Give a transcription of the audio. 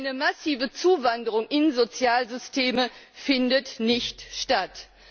Eine massive Zuwanderung in Sozialsysteme findet nicht statt.